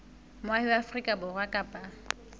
moahi wa afrika borwa kapa